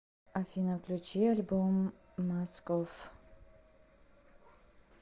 афина включи альбом маск офф